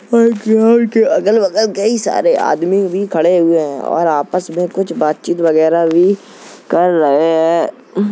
और ग्राउंड के अगल-बगल कई सारे आदमी भी खड़े हुए हैं और आपस में कुछ बातचित वगैरा भी कर रहे हैं ।